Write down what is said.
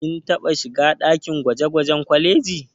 Kin taɓa shiga ɗakin gwaje-gwajen kwalejin.